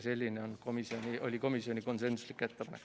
Selline oli komisjoni konsensuslik ettepanek.